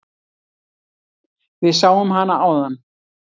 Við sáum hana áðan.